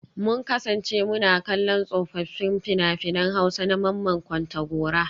Mun kasance muna kallon tsofaffin fina-finan Hausa na Mamman Kontagora